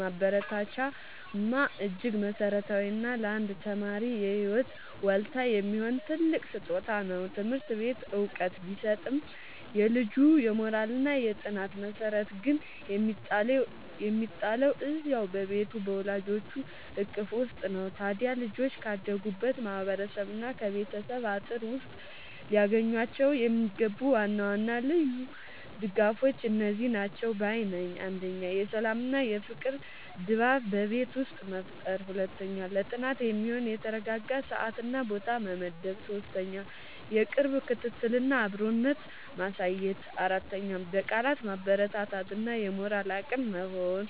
ማበረታቻማ እጅግ መሠረታዊና ለአንድ ተማሪ የህይወት ዋልታ የሚሆን ትልቅ ስጦታ ነው! ትምህርት ቤት ዕውቀት ቢሰጥም፣ የልጁ የሞራልና የጥናት መሠረት ግን የሚጣለው እዚያው በቤቱ በወላጆቹ እቅፍ ውስጥ ነው። ታዲያ ልጆች ካደጉበት ማህበረሰብና ከቤተሰብ አጥር ውስጥ ሊያገኟቸው የሚገቡ ዋና ዋና ልዩ ድጋፎች እነዚህ ናቸው ባይ ነኝ፦ 1. የሰላምና የፍቅር ድባብ በቤት ውስጥ መፍጠር 2. ለጥናት የሚሆን የተረጋጋ ሰዓትና ቦታ መመደብ 3. የቅርብ ክትትልና አብሮነት ማሳየት 4. በቃላት ማበረታታት እና የሞራል አቅም መሆን